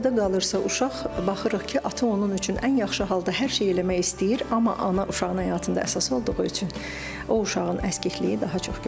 Atada qalırsa uşaq, baxırıq ki, ata onun üçün ən yaxşı halda hər şey eləmək istəyir, amma ana uşağın həyatında əsas olduğu üçün o uşağın əskikliyi daha çox görsənir.